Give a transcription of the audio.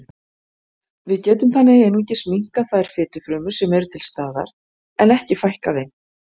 Við getum þannig einungis minnkað þær fitufrumur sem eru til staðar en ekki fækkað þeim.